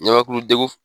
Ɲamakulu degu